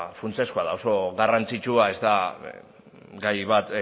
funtsezkoa da oso garrantzitsua ez da gai bat